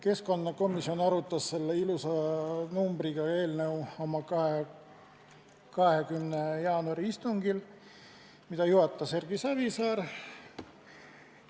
Keskkonnakomisjon arutas seda ilusa numbriga eelnõu oma 20. jaanuari istungil, mida juhatas Erki Savisaar.